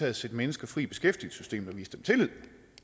at sætte mennesker fri i beskæftigelsessystemet og vise dem tillid